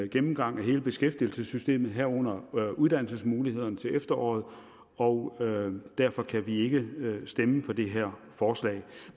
gennemgang af hele beskæftigelsessystemet herunder uddannelsesmulighederne til efteråret og derfor kan vi ikke stemme for det her forslag